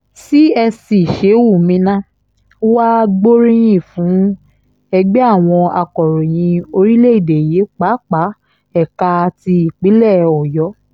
csc shehu minna wàá gbóríyìn fún ẹgbẹ́ àwọn akòròyìn orílẹ̀‐èdè yìí pàápàá ẹ̀ka ti ìpínlẹ̀ ọ̀yọ́